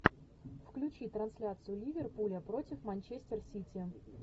включи трансляцию ливерпуля против манчестер сити